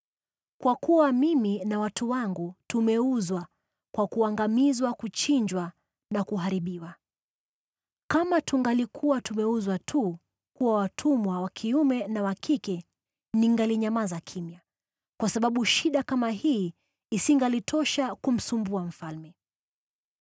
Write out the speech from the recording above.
Kwa kuwa mimi na watu wangu tumeuzwa kwa kuangamizwa, kuchinjwa na kuharibiwa. Kama tungalikuwa tumeuzwa tu kuwa watumwa wa kiume na wa kike, ningalinyamaza kimya, kwa sababu shida kama hii isingalitosha kumsumbua mfalme.”